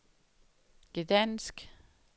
Gdansk